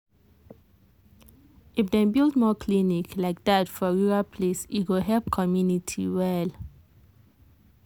if dem build more clinic like that for rural place e go help community well.